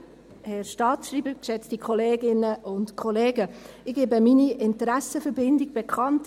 Ich gebe meine Interessenbindung bekannt: